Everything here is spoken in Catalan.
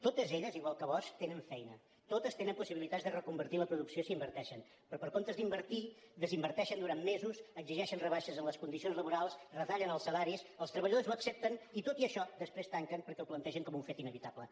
totes elles igual que bosch tenen feina totes tenen possibilitats de reconvertir la producció si hi inverteixen però en comptes d’invertir hi hi desinverteixen durant mesos exigeixen rebaixes en les condicions laborals retallen els salaris els treballadors ho accepten i tot i això després tanquen perquè ho plantegen com un fet inevitable